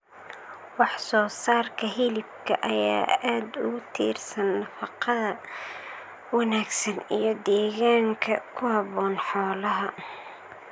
Wax soo saarka hilibka ayaa aad ugu tiirsan nafaqada wanaagsan iyo deegaanka ku habboon xoolaha.